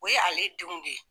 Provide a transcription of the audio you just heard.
O ye ale denw de ye.